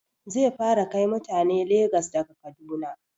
Zai fara kai mutane Legas daga Kaduna